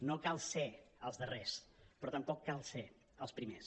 no cal ser els darrers però tampoc cal ser els primers